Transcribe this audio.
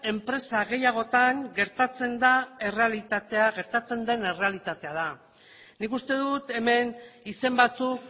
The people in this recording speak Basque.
enpresa gehiagotan gertatzen den errealitatea da nik uste dut hemen izen batzuk